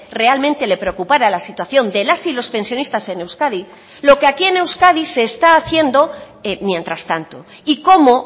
realmente le preocupara la situación de las y los pensionistas en euskadi lo que aquí en euskadi se está haciendo mientras tanto y cómo